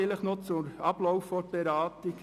Noch ein Kommentar zum Ablauf der Beratung: